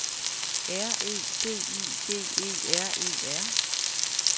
R E D I G E R E R